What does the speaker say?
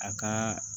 A ka